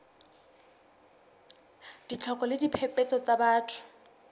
ditlhoko le diphephetso tsa batho